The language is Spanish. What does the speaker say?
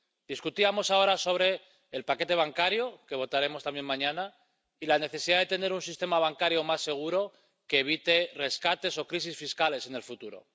Debatíamos ahora sobre el paquete bancario, que votaremos también mañana, y la necesidad de tener un sistema bancario más seguro que evite rescates o crisis fiscales en el futuro.